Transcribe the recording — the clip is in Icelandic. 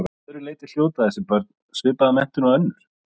Að öðru leyti hljóta þessi börn svipaða menntun og önnur.